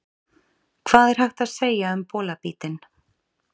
Hvað er hægt að segja um bolabítinn?